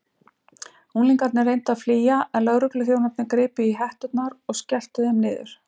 Unglingarnir reyndu að flýja en lögregluþjónarnir gripu í hetturnar og skelltu þeim niður.